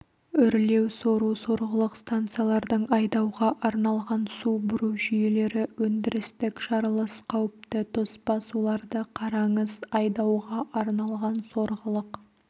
үрлеу сору сорғылық станциялардың айдауға арналған су бұру жүйелері өндірістік жарылыс қауіпті тоспа суларды қараңыз айдауға арналған сорғылық